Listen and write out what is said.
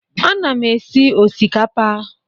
Ana m esi osikapa.